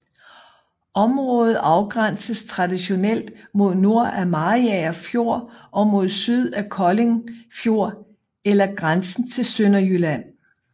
Området afgrænses traditionelt mod nord af Mariager Fjord og mod syd af Kolding Fjord eller grænsen til Sønderjylland